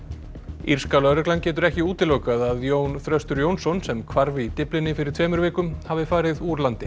írska lögreglan getur ekki útilokað að Jón Þröstur Jónsson sem hvarf í Dyflinni fyrir tveimur vikum hafi farið úr landi